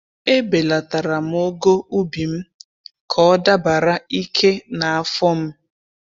E belatara'm ogo ubi m ka ọ dabara ike na afọ m.